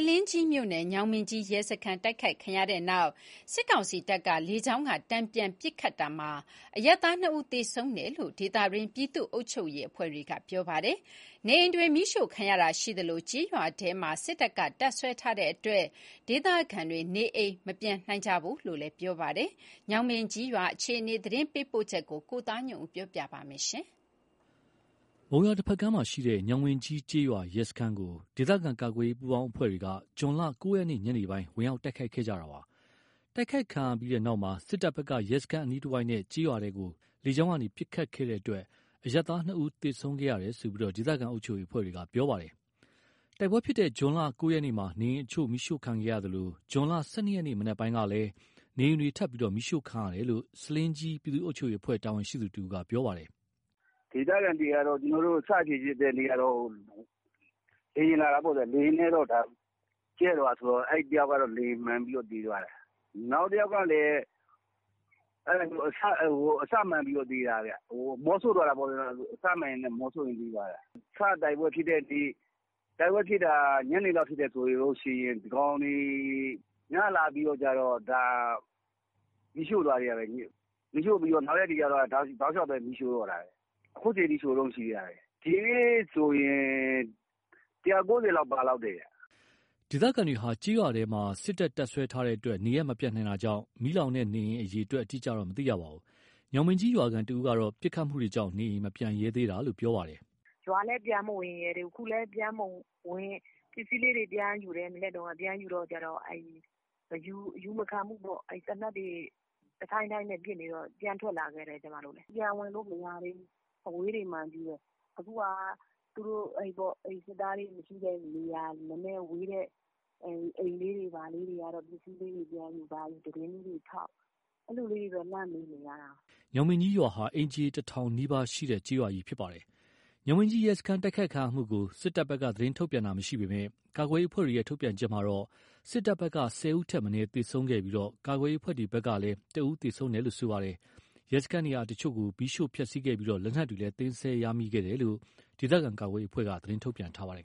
လင်းကြီးမြို့နယ်၊ ညောင်ပင်ကြီးရဲစခန်းတိုက်ခိုက်ခံရတဲ့နောက် စစ်ကောင်စီတပ်က လေကြောင်းက တန်ပြန်ပစ်ခတ်ရာမှာ အရပ်သားနှစ်ဦးသေဆုံးတယ်လို့ ဒေသတွင်းပြည်သူ့အုပ်ချုပ်ရေး အဖွဲ့တွေက ပြောပါတယ်။ နေအိမ်တွေမီးရှို့ခံရတာရှိသလို ကျေးရွာထဲ စစ်တပ်က တပ်စွဲထားတဲ့အတွက် ဒေသခံတွေ နေအိမ်မပြန်နိုင်ကြဘူးလို့လည်းသိရပါတယ်။ ညောင်ပင်ကြီးကျေးရွာအခြေအနေ သတင်းပေးပို့ချက်ကို ကိုသားညွန့်ဦး ပြောပြပါမယ်။ မုံရွာတဖက်ကမ်းမှာရှိတဲ့ ညောင်ပင်ကြီးကျေးရွာရဲစခန်းကို ဒေသခံကာကွယ်ရေး ပူးပေါင်းအဖွဲ့တွေက ဇွန်လ ၉ ရက် ညနေပိုင်းမှာ ဝင်ရောက်တိုက်ခိုက်ခဲ့တာပါ။ တိုက်ခိုက်ခံရပြီးနောက်မှာ စစ်တပ်ဘက်က ရဲစခန်း အနီးတဝိုက်နဲ့ ကျေးရွာထဲကို လေကြောင်းကနေ ပစ်ခတ်ခဲ့တဲ့အတွက် အရပ်သား ၂ ဦး သေဆုံးခဲ့ရတယ်လို့ ဒေသခံအုပ်ချုပ်ရေးအဖွဲ့တွေကပြောပါတယ်။ တိုက်ပွဲဖြစ်တဲ့ ဇွန် ၉ ရက်မှာ နေအိမ်အချို့မီးရှို့ခံခဲ့ရသလို ဇွန် ၁၂ ရက် မနက်ပိုင်းကလည်း နေအိမ်တွေ ထပ်ပြီး မီးရှို့ခံရတာရှိတယ်လို့ ဆားလင်းကြီး ပြည်သူ့အုပ်ချုပ်ရေးအဖွဲ့ တာဝန်ရှိသူတဦးက ပြောပါတယ်။ “ဒေသခံတွေက စဖြစ်ဖြစ်တဲ့နေ့က လေယာဉ်လာတာပေါ့ဗျာ။ လေယာဉ်လာပြီး ကြဲသွားတာဆိုတော့ တယောက်ကတော့ လေယာဉ် မှန်ပြီး သေသွားတယ်။ နောက်တယောက်ကလည် အစမှန်ပြီး သေတာ အမောဆို့သွားတာပေါ့။ အစမှန်ရင်း အမောဆို့ပြီး သေသွားတာ။ စတိုက်ပွဲဖြစ်တဲ့နေ့ တိုက်ပွဲဖြစ်တာ ညနေလောက် ဖြစ်တယ်ဆိုရင် ဒီကောင်တွေ ညလာပြီးတော့ မီးရှို့သွားသေးတာပဲ။ နောက်ရက်တွေကြတော့ တောက်လျှောက်ပဲမီးရှို့တော့တာ။ အခုချိန်ထိရှို့တုန်းရှိသေးတာ။ ဒီနေ့ထိဆိုရင် ၁၀၀/၉၀ လောက် ပါလောက်တယ်။” ဒေသခံတွေဟာ ကျေးရွာထဲမှာ စစ်တပ်တပ်စွဲထားတဲ့အတွက် နေရပ်မပြန်နိုင်တာကြောင့်၊ မီးလောင်တဲ့ နေအိမ်အရေအတွက်အတိအကျတော့ မသိရပါဘူး။ ညောင်ပင်ကြီးရွာခံတဦးကတော့ ပစ်ခတ်မှုတွေကြောင့် နေအိမ်မပြန်ရဲသေးတာလို့ ပြောပါတယ်။ “ရွာလည်း ပြန်မဝင်ရဲသေးဘူး အခုလည်း ပစ္စည်းလေးတွေ ပြန်ယူတယ် ပြန်ယူတော့ အယူမခံဘူးပေါ့။ သေနတ်တွေ တဒိုင်းဒိုင်းနဲ့ပစ်နေတော့ ပြန်ထွက်လာခဲ့တယ်။ ကျွန်မတို့လည်း ပြန်ဝင်လို့မရသေးဘူး။ အဝေးတွေမှာပဲ။ အခုဟာ သူတို့စစ်သားတွေမရှိတဲ့နေရာ နည်းနည်းဝေးတဲ့နေရာ အိမ်လေးဘာလေးတွေက ပစ္စည်းလေးဘာလေးပြန်ယူ သတင်းလေးတွေထောက် အဲ့လိုလေးတွေတော့ လှမ်းမေးနေရတယ်” ညောင်ပင်ကြီးရွာဟာ အိမ်ခြေ တထောင်နီးပါးရှိတာပါ။ ညောင်ပင်ကြီး ရဲစခန်း တိုက်ခိုက်ခံရမှုကို စစ်တပ်ဘက်က သတင်းထုတ်ပြန်ထားတာ မရှိပေမယ့် ကာကွယ်ရေး အဖွဲ့တွေထုတ်ပြန်ချက်မှာတော့ စစ်တပ်ဘက်က ၁၀ ဦးထက်မနည်းသေဆုံးခဲ့ပြီး ကာကွယ်ရေး အဖွဲ့တွေဘက်ကလည်း ၁ ဦးသေဆုံးခဲ့တယ်လို့ဆိုပါတယ်။ ရဲစခန်း နေရာအချို့ကို မီးရှို့ဖျက်ဆီးခဲ့ပြီး လက်နက်တွေလည်း သိမ်းဆည်းရမိခဲ့တယ်လို့ ဒေသခံကာကွယ်ရေးအဖွဲ့က သတင်းထုတ်ပြန်ထားပါတယ်